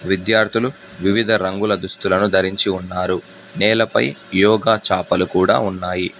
విద్యార్థులు వివిధ రంగుల దుస్తులను ధరించి ఉన్నారు నేలపై యోగా చాపలు కూడా ఉన్నాయి.